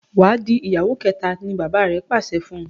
Wá dì ìyàwó kéta! ní bàbá rẹ pàṣẹ fún.